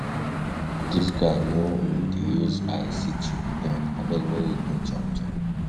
Dis guy no um dey use eye see cheap joint, abeg make we go chop joor.